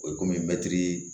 O ye komi mɛtiri